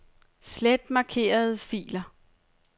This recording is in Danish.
Slet markerede filer.